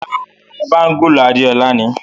Ràrá, bangulu Adéọla ni.